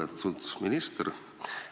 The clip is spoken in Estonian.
Lugupeetud minister!